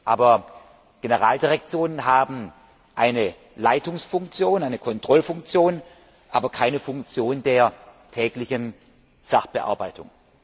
Aber Generaldirektionen haben eine Leitungsfunktion, eine Kontrollfunktion, nicht jedoch die Funktion der täglichen Sachbearbeitung.